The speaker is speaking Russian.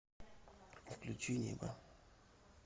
включи небо